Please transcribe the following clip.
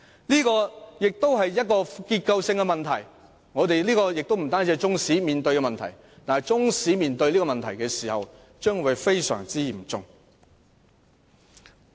這也是結構性問題，雖然這不是只有中史科面對的問題，但中史科的情況尤其嚴重。